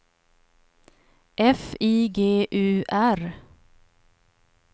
F I G U R